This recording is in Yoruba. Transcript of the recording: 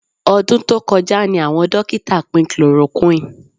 Ọdún tó kọjá ni àwọn dókítà pín chloroquine